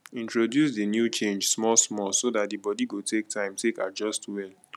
introduce di new change small small so dat di body go take time take adjust well